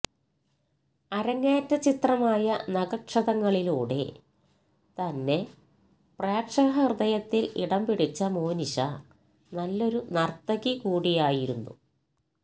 അരങ്ങേറ്റ ചിത്രമായ നഖക്ഷതങ്ങളിലൂടെ തന്നെ പ്രേക്ഷക ഹൃദയത്തില് ഇടം പിടിച്ച മോനിഷ നല്ലൊരു നര്ത്തകി കൂടിയായിരുന്നു